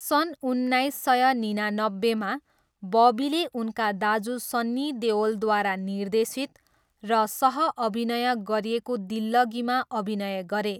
सन् उन्नाइस सय निनानब्बेमा, बबीले उनका दाजु सन्नी देओलद्वारा निर्देशित र सहअभिनय गरिएको दिल्लगीमा अभिनय गरे।